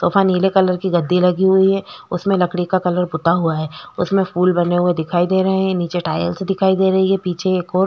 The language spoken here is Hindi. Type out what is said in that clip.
सोफा नीले कलर की गद्दी लगी हुई है उसमे लकड़ी का कलर पोता हुआ है उसमे फूल बने हुए दिखाई दे रहे है निचे टाइल्स दिखाई दे रही है पीछे एक और--